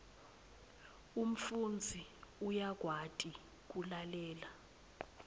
umfundzi uyakwati kulalela